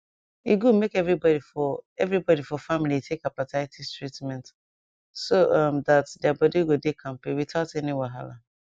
e good make everybody for everybody for family take hepatitis treatment so um that their body go dey kampe without any wahala